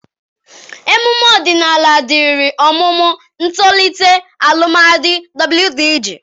Emume ọdịnala dịịrị ọmụmụ, ntolite, alụmdi, wdg.